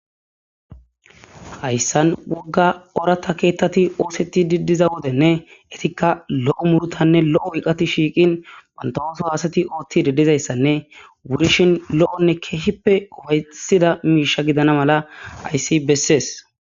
hayssan wogga orata keettati oosetti diddiza wodenne etikka lo'o murutanne lo'o iqati shiiqin bantawooso haasati oothti didizayssanne wurishin lo'onne keehippe ufaysida miisha gidana mala ayssi bessees